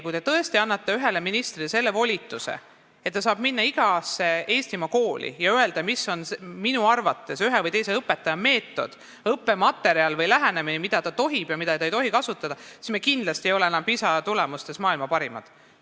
Kui te tõesti annate ühele ministrile sellise volituse, et ta saab minna igasse Eestimaa kooli ja öelda, milline peab tema arvates olema ühe või teise õpetaja meetod, õppematerjal või lähenemine, mida tohib ja mida ei tohi kasutada, siis me kindlasti ei ole varsti enam PISA tulemuste järgi maailma parimad.